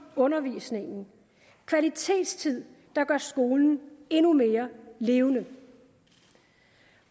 undervisningen kvalitetstid der gør skolen endnu mere levende